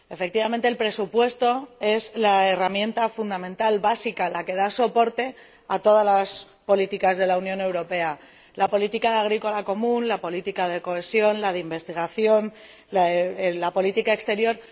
Efectivamente, el presupuesto es la herramienta fundamental básica, la que da soporte a todas las políticas de la Unión Europea la Política Agrícola Común, la política de cohesión, la de investigación, la política exterior.